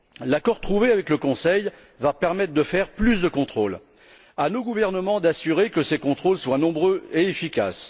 L'accord trouvé avec le Conseil va permettre de faire plus de contrôles. Il échoit à nos gouvernements d'assurer que ces contrôles soient nombreux et efficaces.